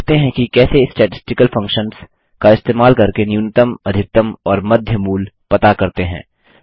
देखते हैं कि कैसे स्टैटिस्टिकल फंक्शन्स का इस्तेमाल करके न्यूनतमअधिकतम और मध्य मूल पता करते हैं